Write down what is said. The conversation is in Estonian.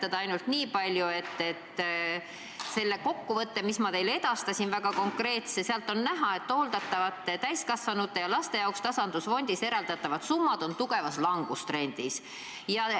Ütlen ainult nii palju, et sellest väga konkreetsest kokkuvõttest, mis ma teile edastasin, on näha, et hooldatavate täiskasvanute ja laste jaoks tasandusfondist eraldatavad summad on tugevas langustrendis.